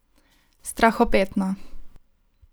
Strahopetno.